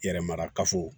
Yɛrɛ marakafo